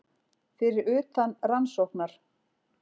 Fyrir utan rannsóknar